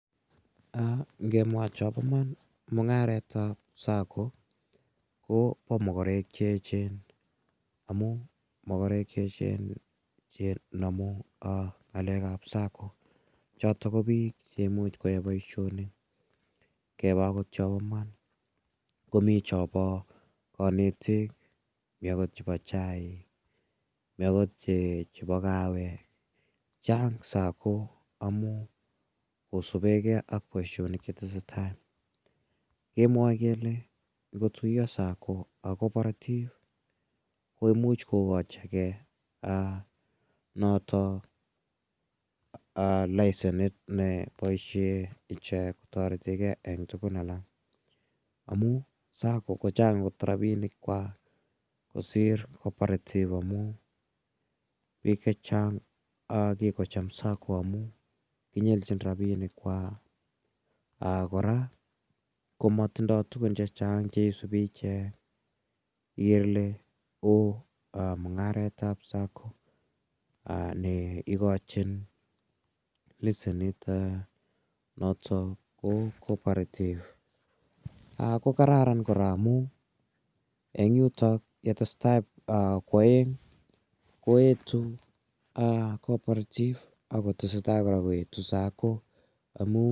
Kemwaa Chamba Iman ko mungaret ab Sacco Koba magarek cheyechen amun magarek cheyechen chenamu ngalek ab Sacco choton ko bik koyae Baishonik keba okot Chamba Iman Komi Chamba kanetik mi akot chebo chaik mi akot chebo kawek Chang Sacco amun kosubegei ak Baishonik chetesetai kemwae kele kotuiye Sacco ak cooperative komuch kokachin gei noton licenit nei baishen ichek taretet en tugun alak amun Sacco kochang kot rabinik chwak kosir cooperative amunbik chechang kokikocham Sacco koamun kinyenjin rabik chwak koraa komatindo tugun chechang cheisubi ichek igere Kole ooh mungaret ab Sacco neikochin leshenit noton ko cooperative kokararan koraa amun en yuton netesetai kwaenge koetu cooperative akotestai koetu Sacco